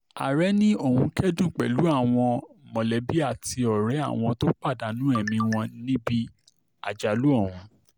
ààrẹ ni òun kẹ́dùn pẹ̀lú àwọn mọ̀lẹ́bí àti ọ̀rẹ́ àwọn tó pàdánù ẹ̀mí wọn níbi àjálù ọ̀hún